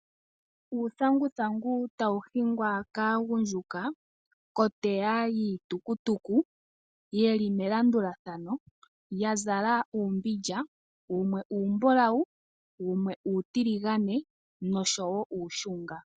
Uuthanguthangu tawu hingwa kaagundjuka koteya yiitukutuku ye li melandulathano, ya zala uumbindja wumwe uumbulawu, wumwe uutiligane oshowo wumwe uushunga.